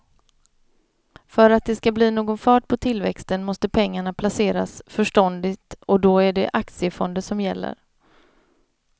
För att det ska bli någon fart på tillväxten måste pengarna placeras förståndigt och då är det aktiefonder som gäller.